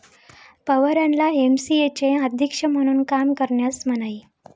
पवारांना एमसीएचे अध्यक्ष म्हणून काम करण्यास मनाई